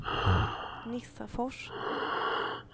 Nissafors